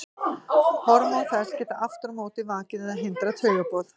Hormón þess geta aftur á móti vakið eða hindrað taugaboð.